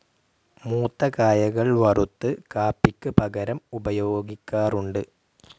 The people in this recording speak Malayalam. മൂത്ത കായകൾ വറുത്ത് കാപ്പിക്ക് പകരം ഉപയോഗിക്കാറുണ്ട്.